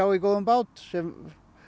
í góðum bát sem